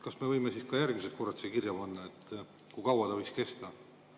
Kas me võime siis ka järgmised korrad siia kirja panna, kui kaua ta võiks kesta?